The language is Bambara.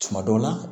Tuma dɔw la